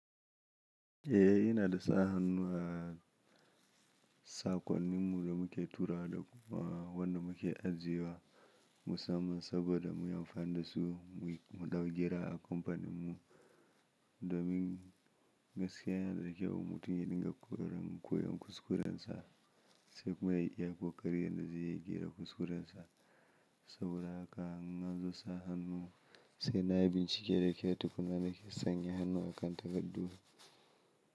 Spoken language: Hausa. Eh, ina da sa hannu a saƙonnin mu da muke tura da kuma wanda muke ajiye wa musamman saboda mu yi amfani da su mu ɗau gera a kamfanin mu domin gaskiya yana da kyau. Mutum ya dinga koyon kuskuren sa sai kuma ya iya kokari yadda zai iya gyara kuskuren sa. Saboda haka in nazo sa hannu, sai na yi bincike da kyau tukunna nake sanya hannu a kan takardu.